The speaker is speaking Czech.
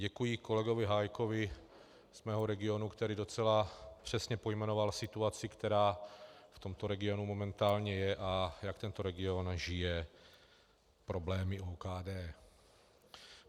Děkuji kolegovi Hájkovi z mého regionu, který docela přesně pojmenoval situaci, která v tomto regionu momentálně je, a jak tento region žije problémy OKD.